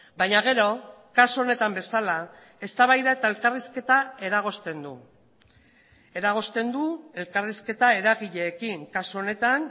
baina gero kasu honetan bezala eztabaida eta elkarrizketa eragozten du eragozten du elkarrizketa eragileekin kasu honetan